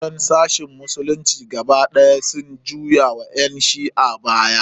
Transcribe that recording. Sauran sashin musulunci gaba ɗaya sun juya wa ƴan shi'a baya.